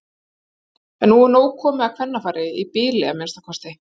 En nú er nóg komið af kvennafari- í bili að minnsta kosti.